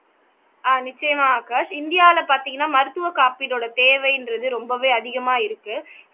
ஆஹ் நிச்சயமாக ஆகாஷ் இந்தியாவுல பார்த்தீங்கன்னா மருத்துவ காப்பீடோட தேவைன்றது ரொம்பவே அதிகமா இருக்கு